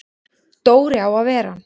Dóri á að vera hann!